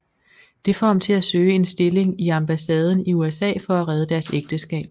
Det får ham til at søge en stilling i ambassaden i USA for at redde deres ægteskab